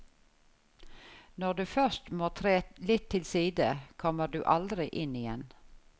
Når du først må tre litt til side, kommer du aldri inn igjen.